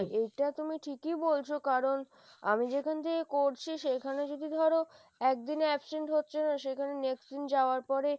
এটা তুমি ঠিকই বলছো, কারণ আমি যেখান থেকে করছি সেখানে যদি ধরো একদিনে absent হচ্ছে না সেখানে next দিন যাওয়ার পরে,